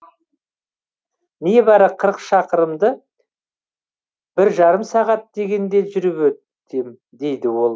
небәрі қырық шақырымды бір жарым сағат дегенде жүріп өтем дейді ол